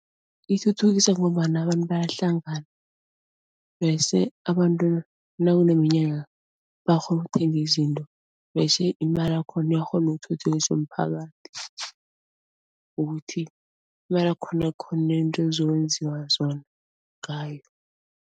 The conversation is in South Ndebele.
ithuthukisa ngombana abantu bayahlangana bese abantu nakuneminyanya bakghona ukuthenga izinto bese imali yakhona iyakghona ukuthuthukisa umphakathi ukuthi imali ukwenziwa zona ngayo.